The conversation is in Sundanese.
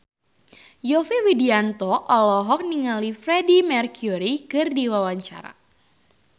Yovie Widianto olohok ningali Freedie Mercury keur diwawancara